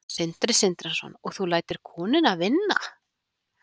Sindri Sindrason: og þú lætur konuna vinna?